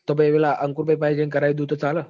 તો તો પેલા અંકુર ભાઈ જઈ કરાઈ દવતો ચાલ